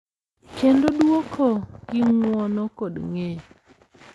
Kendo dwoko gi ng’uono kod ng’eyo.